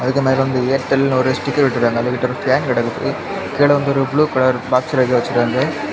அதுக்கு மேல வந்து ஏர்டெல்னு ஒரு ஸ்டிக்கர் ஒட்டி இருக்காங்க. அவங்க கிட்ட ஒரு ஃபேன் கிடைக்குது. கீழ வந்து ப்ளூ கலர் பாக்ஸ்ல ஏதோ வச்சிருக்காங்க.